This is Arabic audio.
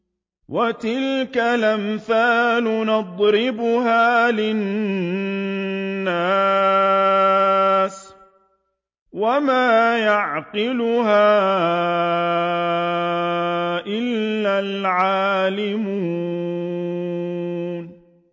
وَتِلْكَ الْأَمْثَالُ نَضْرِبُهَا لِلنَّاسِ ۖ وَمَا يَعْقِلُهَا إِلَّا الْعَالِمُونَ